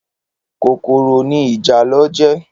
Kókóró ni ijálò jè